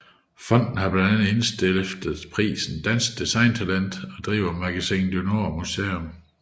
Fonden har blandt andet indstiftet prisen Dansk Design Talent og driver Magasin du Nord Museum